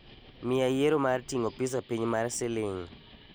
Miya yiero mar ting'o pizza piny mar siling'